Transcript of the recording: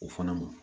O fana ma